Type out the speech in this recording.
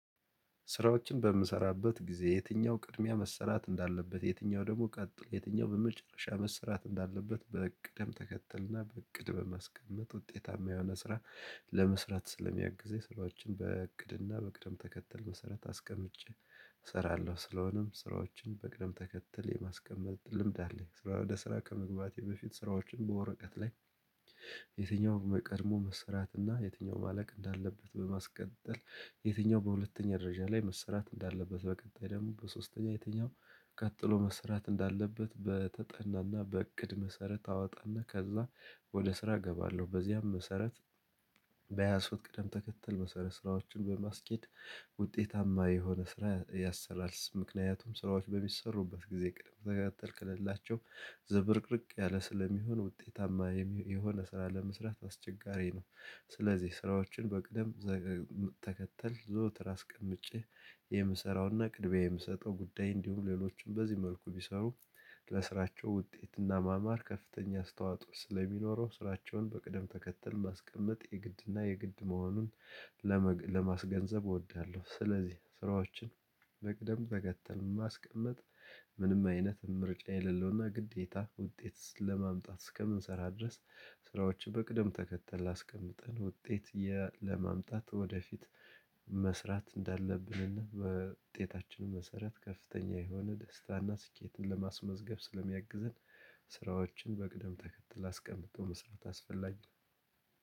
ስራዎችን በምሰራበት ጊዜ የትኛው ቅድሚያ መሰራት እንዳለበት የትኛው ደግሞ ቀጥሎ የትኛው በመጨረሻ መሰራት እንዳለበት በቅደም ተከተልና በእቅድ በማስቀመጥ ውጤታማ የሆነ ስራ ለመስራት ስለሚያግዘኝ ስራዎችን በእቅድና በቅደም ተከተል መሰረት አስቀምጬ እሰራለሁ ስለሆነም ስራዎችን በቅደም ተከተል የማስቀመጥ ልምድ አለኝ ስራ ወደ ስራ ከመግባቴ በፊት ስራዎችን በወረቀት ላይ። የትኛው ቀድሞ መሰራትና የትኛው ማለቅ እንዳለበት በማስቀጠል የትኛው በሁለተኛ ደረጃ ላይ መሰራት እንዳለበት በቀጣይ ደግሞ በሶስተኛ የትኛው ቀጥሎ መሰራት እንዳለበት በተጠናና በእቅድ መሰረት አወጣና ከዛ ወደ ስራ እገባለሁ። በዚያም መሰረት በያዝኩት ቅደም ተከተል መሰረት ስራዎችን በማስኬድ ውጤታማ የሆነ ስራ ያሰራል ምክንያቱም ስራዎች በሚሰሩበት ጊዜ ቅድም ተከተል ከሌላቸው ዝብርቅርቅ ያለ ስለሚሆን ውጤታማ የሆነ ስራ ለመስራት አስቸጋሪ ነው። ስለዚህ ስራዎችን በቅደም ተከተል ዘወትር አስቀምጬ የምሰራውና ቅድሚያ የምሰጠው ጉዳይ እንዲሁም ሌሎችን በዚህ መልኩ ቢሰሩ ለስራቸው ውጤትና ማማር ከፍተኛ አስተዋጽኦ ስለሚኖረው ስራቸውን በቅደም ተከተል ማስቀመጥ የግድና የግድ መሆኑን ለመግ ለማስገንዘብ እወዳለሁ። ስለዚህ ስራዎችን መቅደም ተከተል ማስቀመጥ ምንም አይነት ምርጫ የሌለውና ግዴታ ውጤት ለማምጣት እስከምንሰራ ድረስ ስራዎችን በቅደም ተከተል ላስቀምጠን ውጤት ለማምጣት ወደፊት መስራት እንዳለብን እና በውጤታችን መሰረት ከፍተኛ የሆነ ደስታና ስኬትን ለማስመዝገብ ስለሚያግዝን ስራዎችን በቅደም ተከትለው አስቀምጦ መስራት አስፈላጊ ነው